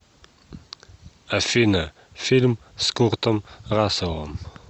афина фильм с куртом расселом